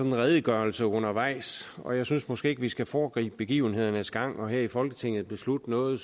en redegørelse undervejs og jeg synes måske ikke at vi skal foregribe begivenhedernes gang ved her i folketinget at beslutte noget